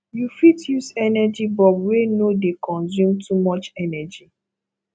you fit use energy bulb wey no dey consume too much energy